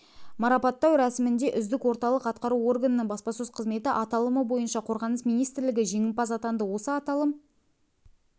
марапаттау рәсімінде үздік орталық атқару органының баспасөз қызметі аталымы бойынша қорғаныс министрлігі жеңімпаз атанды осы аталым